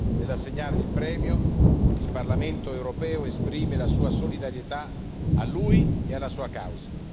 Nell'assegnargli il premio, il Parlamento europeo esprime la sua solidarietà a lui e alla sua causa.